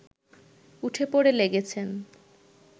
উঠেপড়ে লেগেছেন